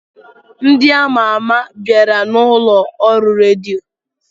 Ndị ama ama bịara n'ụlọ ọrụ redio.